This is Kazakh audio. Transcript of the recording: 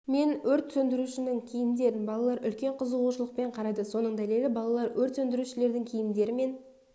мен өрт сөндірушінің киімдерін балалар үлкен қызушылықпен қарады соның дәлелі балалар өрт сөндірушілердің киімдері мен